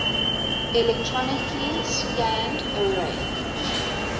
electronically scanned array